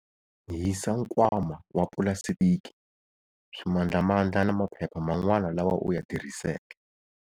Hisa nkwama wa pulasitiki, swimandlamandla na maphepha man'wana lawa u ya tirhiseke.